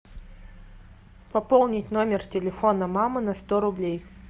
пополнить номер телефона мамы на сто рублей